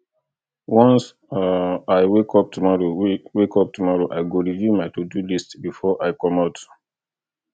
once i wake up tomorrow wake up tomorrow i go review my todo list before i comot